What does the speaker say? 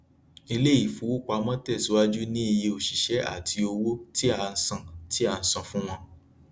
ilé ifowopamọ tẹsíwájú ní iye òṣìṣẹ àti owó tí a san tí a san fún wọn